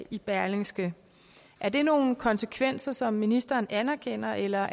i berlingske er det nogle konsekvenser som ministeren anerkender eller